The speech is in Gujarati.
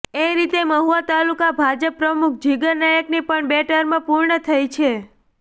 એ રીતે મહુવા તાલુકા ભાજપ પ્રમુખ જિગર નાયકની પણ બે ટર્મ પૂર્ણ થઈ છે